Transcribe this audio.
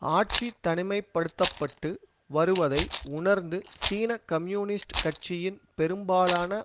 ஆட்சி தனிமை படுத்த பட்டு வருவதை உணர்ந்து சீன கம்யூனிஸ்ட் கட்சியின் பெரும்பாலான